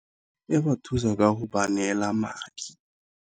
E ba thusa ka go ba neela madi.